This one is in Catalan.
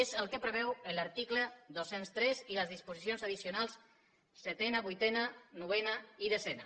és el que preveuen l’article dos cents i tres i les disposicions addicionals setena vuitena novena i desena